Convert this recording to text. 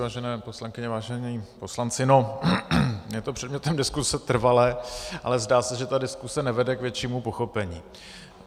Vážené poslankyně, vážení poslanci, no je to předmětem diskuse trvale, ale zdá se, že ta diskuse nevede k většímu pochopení.